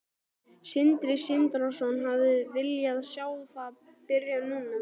Sindri Sindrason: Hefðirðu viljað sjá það byrja núna?